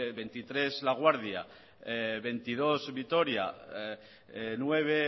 veintitrés laguardia veintidós vitoria nueve